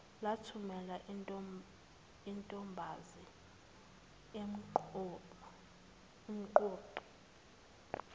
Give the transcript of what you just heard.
lathumela untombazi umqoqi